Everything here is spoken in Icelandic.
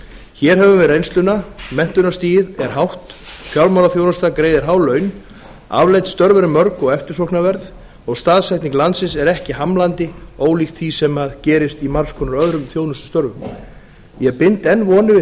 hér höfum við reynsluna menntunarstigið er hátt fjármálaþjónustan greiðir há laun afleidd störf eru mörg og eftirsóknarverð og staðsetning landsins er ekki hamlandi ólíkt því sem gerist í margs konar öðrum þjónustustörfum ég bind enn vonir við